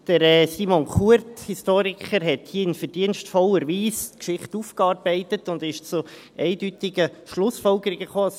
Der Historiker Simon Kuert hat in verdienstvoller Weise die Geschichte aufgearbeitet und ist zu eindeutigen Schlussfolgerungen gekommen.